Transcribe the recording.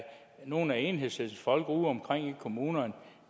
nogle af enhedslistens folk udeomkring i kommunerne